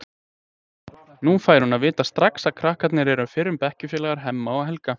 Nú fær hún að vita strax að krakkarnir eru fyrrum bekkjarfélagar Hemma og Helga.